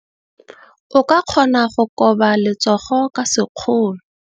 O ka kgona go koba letsogo ka sekgono.